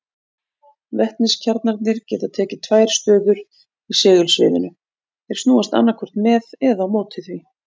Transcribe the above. Vetniskjarnarnir geta tekið tvær stöður í segulsviðinu, þeir snúast annaðhvort með eða á móti því.